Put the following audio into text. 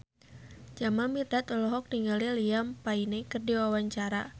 Jamal Mirdad olohok ningali Liam Payne keur diwawancara